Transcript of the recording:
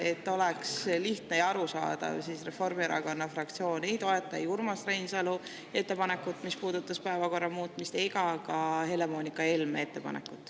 Et oleks lihtne ja arusaadav, siis Reformierakonna fraktsioon ei toeta ei Urmas Reinsalu ettepanekut, mis puudutas päevakorra muutmist, ega ka Helle-Moonika Helme ettepanekut.